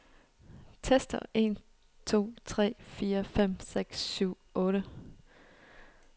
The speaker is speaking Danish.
Tester en to tre fire fem seks syv otte.